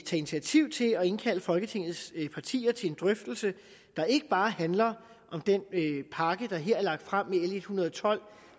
initiativ til at indkalde folketingets partier til en drøftelse der ikke bare handler om den pakke der her er lagt frem med l en hundrede og tolv